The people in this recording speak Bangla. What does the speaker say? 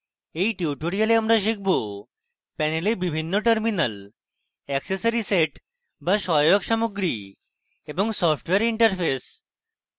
in tutorial আমরা শিখব